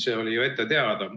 See oli ju ette teada.